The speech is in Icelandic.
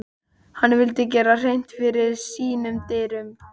Hann vildi gera hreint fyrir sínum dyrum.